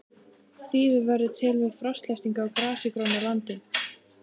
Þýfi verður til við frostlyftingu á grasigrónu landi.